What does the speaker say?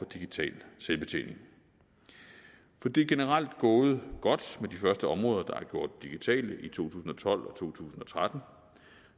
digital selvbetjening for det er generelt gået godt med de første områder der gjort digitale i to tusind og tolv og to tusind og tretten